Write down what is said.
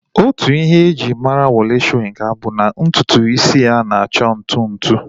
Otu Ihe e ji mara Wole Soyinka bụ na ntutu isi ya na-acha ntụ ntụ